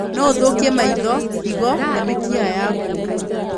No ũthũkie maitho, higo na mĩkiha yaku.